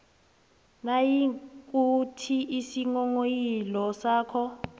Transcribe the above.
nayikuthi isinghonghoyilo sakho